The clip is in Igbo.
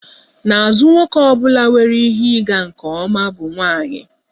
N'azụ nwoke ọ bụla nwere ihe ịga nke ọma bụ nwanyị